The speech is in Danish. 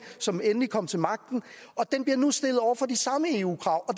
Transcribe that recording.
som endelig kom til magten og den bliver nu stillet over for de samme eu krav og